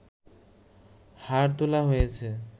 হাড় তোলা হয়েছে